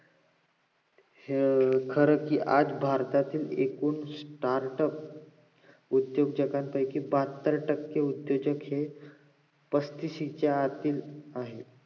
हे खर कि आज भारतात एकूण startup उद्दोजकां पैकी बहात्तर टक्के उद्द्योजक हे पस्तिशीच्या आतले आहेत